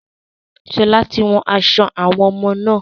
Sọlá tí wón aṣọ àwọn ọmọ náà.